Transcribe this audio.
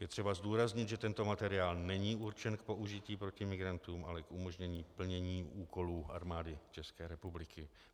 Je třeba zdůraznit, že tento materiál není určen k použití proti migrantům, ale k umožnění plnění úkolů Armády České republiky.